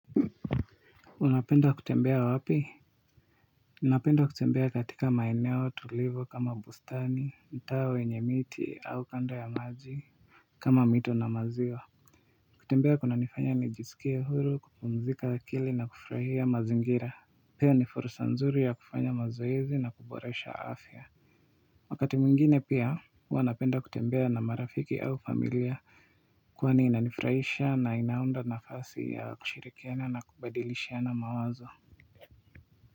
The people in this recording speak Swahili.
Unapenda kutembea wapi ninapenda kutembea katika maeneo tulivu kama bustani mtaa wenye miti au kando ya maji kama mito na maziwa kutembea kuna nifanya nijisikia huru kupumzika akili na kufurahia mazingira pia ni fursa nzuri ya kufanya mazoezi na kuboresha afya wakati mwingine pia huwa napenda kutembea na marafiki au familia kwani inanifurahisha na inaunda nafasi ya kushirikiana na kubadilishiana mawazo